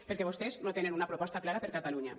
perquè vostès no tenen una proposta clara per a catalunya